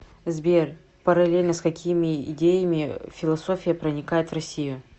сбер параллельно с какими идеями философия проникает в россию